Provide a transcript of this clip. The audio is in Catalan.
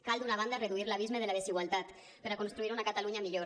cal d’una banda reduir l’abisme de la desigualtat per a construir una catalunya millor